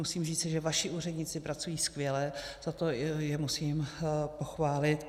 Musím říci, že vaši úředníci pracují skvěle, za to je musím pochválit.